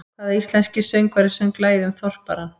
Hvaða íslenski söngvari söng lagið um Þorparann?